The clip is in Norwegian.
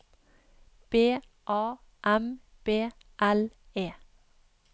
B A M B L E